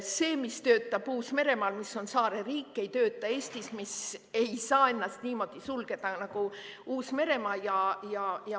See, mis töötab Uus-Meremaal, mis on saareriik, ei tööta Eestis, mis ei saa ennast niimoodi sulgeda nagu Uus-Meremaa.